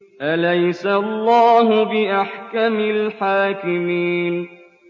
أَلَيْسَ اللَّهُ بِأَحْكَمِ الْحَاكِمِينَ